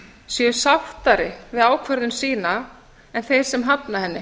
séu sáttari við ákvörðun sína en þeir sem hafna henni